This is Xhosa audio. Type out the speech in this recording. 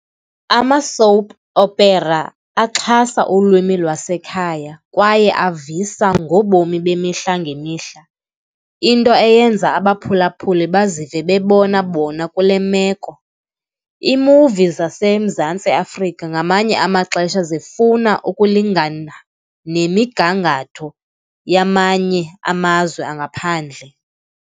Ama-soap opera axhasa ulwimi lwasekhaya kwaye avisa ngobomi bemihla ngemihla, into eyenza abaphulaphuli bazive bebona bona kule meko. Iimuvi zaseMzantsi Afrika ngamanye amaxesha zifuna ukulingana nemigangatho yamanye amazwe angaphandle.